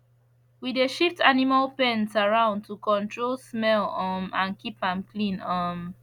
we dey shift animal pens around to control smell um and keep am clean um